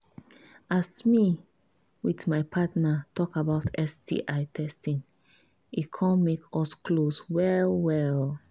as me with my partner talk about sti testing e come make us close well well